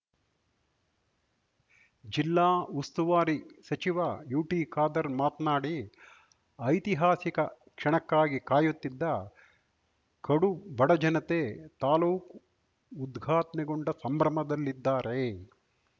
ಜಿಲ್ಲಾ ಉಸ್ತುವಾರಿ ಸಚಿವ ಯುಟಿಖಾದರ್ ಮಾತ್ನಾಡಿ ಐತಿಹಾಸಿಕ ಕ್ಷಣಕ್ಕಾಗಿ ಕಾಯುತ್ತಿದ್ದ ಕಡುಬಡ ಜನತೆ ತಾಲೂಕು ಉದ್ಘಾಟ್ನೆಗೊಂಡ ಸಂಭ್ರಮ ದಲ್ಲಿದ್ದಾರೆ